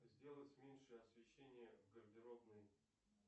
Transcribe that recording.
сделать меньше освещение в гардеробной